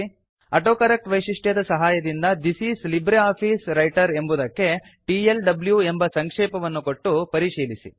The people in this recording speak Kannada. ಆಟೋಕರೆಕ್ಟ್ ವೈಶಿಷ್ಟ್ಯದ ಸಹಾಯದಿಂದ ಥಿಸ್ ಇಸ್ ಲಿಬ್ರಿಆಫಿಸ್ ವ್ರೈಟರ್ ಎಂಬುದಕ್ಕೆ ಟಿಎಲ್ಡ್ಯೂ ಎಂಬ ಸಂಕ್ಷೇಪವನ್ನು ಕೊಟ್ಟು ಪರಿಶೀಲಿಸಿ